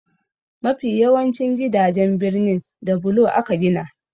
Mafi yawancin gidajen birnin da bulo aka gina.